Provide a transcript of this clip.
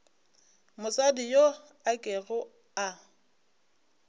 mosadi yo a kego a